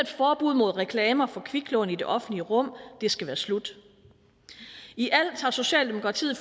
forbud mod reklamer for kviklån i det offentlige rum det skal være slut i alt har socialdemokratiet